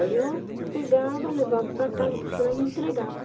Aí eu pegava, levava para casa, costurava e entregava.